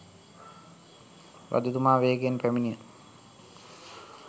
රජතුමා වේගයෙන් පැමිණ